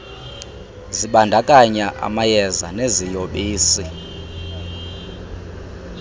zibandakanya amayeza neziyobisi